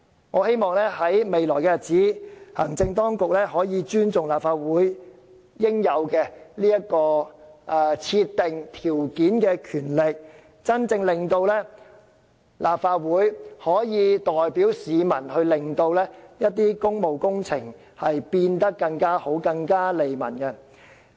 我希望未來日子，行政當局可以尊重立法會應有的設定條件的權力，令立法會真正可以代表市民，使一些工務工程變得更完善、更利民。